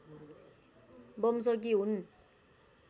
वंशकी हुन्